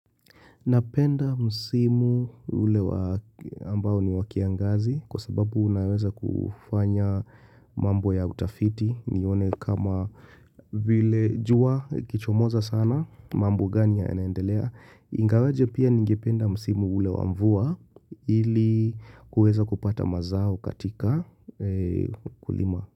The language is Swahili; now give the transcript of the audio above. Napenda msimu ule ambao ni wa kiangazi kwa sababu unaweza kufanya mambo ya utafiti nione kama vile jua likichomoza sana mambo gani yanaendelea. Ingawaje pia ningependa msimu ule wa mvua ili kuweza kupata mazao katika ukulima.